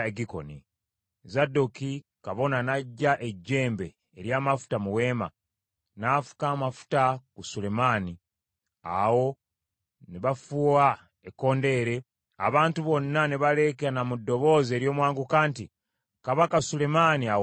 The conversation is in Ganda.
Zadooki kabona n’aggya ejjembe ery’amafuta mu weema, n’afuka amafuta ku Sulemaani. Awo ne bafuuwa ekkondeere, abantu bonna ne baleekaana mu ddoboozi ery’omwanguka nti, “Kabaka Sulemaani awangaale.”